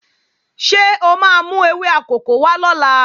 Ṣé o máa mú ewé akòko wá lọ́la?